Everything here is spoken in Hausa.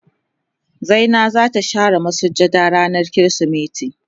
Zinai za ta share masujada rana kirisimeti.